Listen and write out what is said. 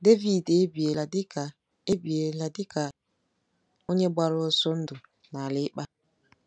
Devid ebiela dị ka ebiela dị ka onye gbara ọsọ ndụ n’ala ịkpa.